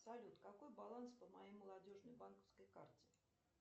салют какой баланс по моей молодежной банковской карте